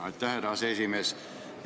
Aitäh, härra aseesimees!